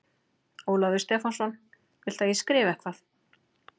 Ólafur Stefánsson: Viltu að ég skrifi eitthvað?